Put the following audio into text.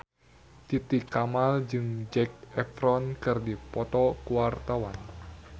Titi Kamal jeung Zac Efron keur dipoto ku wartawan